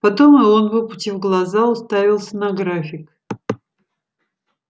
потом и он выпучив глаза уставился на график